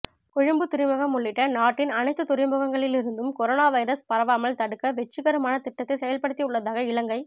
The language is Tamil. கொழும்பு துறைமுகம் உள்ளிட்ட நாட்டின் அனைத்து துறைமுகங்களிலிருந்தும் கொரோனா வைரஸ் பரவாமல் தடுக்க வெற்றிகரமான திட்டத்தை செயல்படுத்தியுள்ளதாக இலங்கை